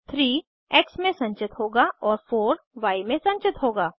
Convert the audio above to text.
3 x में संचित होगा और 4 य में संचित होगा